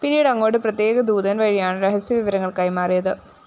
പിന്നീട് അങ്ങോട്ട് പ്രത്യേക ദൂതന്‍ വഴിയാണ് രഹസ്യവിവരങ്ങള്‍ കൈമാറിയത്